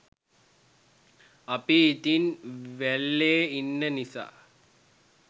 අපි ඉතින් වැල්ලෙ ඉන්න නිසා